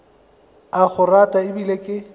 a go rata ebile ke